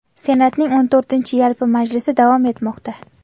Senatning XIV yalpi majlisi davom etmoqda.